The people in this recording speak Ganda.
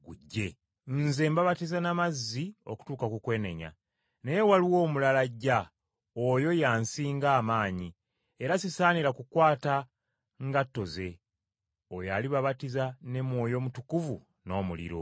“Nze mbabatiza na mazzi okutuuka ku kwenenya, naye waliwo omulala ajja, oyo ye ansinga amaanyi era sisaanira na kukwata ngatto ze, oyo alibabatiza ne Mwoyo Mutukuvu n’omuliro.